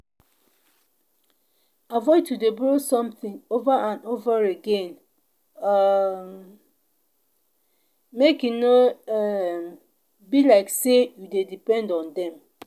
avoid to de borrow something over and over again um make e no um be like say you de depend on dem